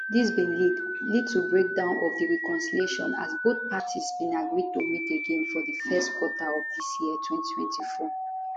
dis bin lead lead to breakdown of di reconciliation as both parties bin agree to meet again for di first quarter of dis year 2024